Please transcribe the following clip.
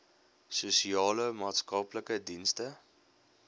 sosiale maatskaplike dienste